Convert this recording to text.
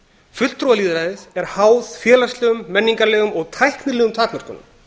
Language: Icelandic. fulltrúalýðræðið er háð félagslegum menningarlegum og tæknilegum takmörkunum